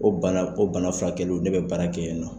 Ko bana, ko bana furakɛliw ne bɛ baara kɛ yen nɔ.